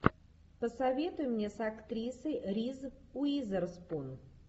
посоветуй мне с актрисой риз уизерспун